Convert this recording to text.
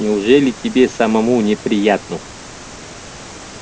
неужели тебе самому не приятно